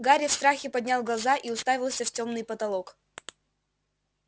гарри в страхе поднял глаза и уставился в тёмный потолок